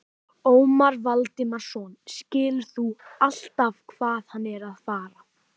Ómar Valdimarsson: Skilurðu alltaf hvað hann er að fara?